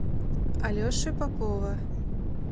алеши попова